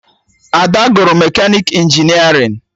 Ada gụrụ mekanịka injinerịn